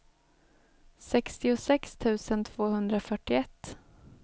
sextiosex tusen tvåhundrafyrtioett